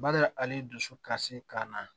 Bada hali dusu kasi kan na